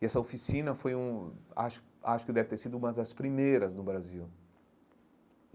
E essa oficina foi um acho acho que deve ter sido uma das primeiras no Brasil.